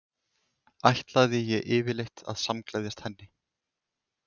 Ætlaði ég yfirleitt að samgleðjast henni?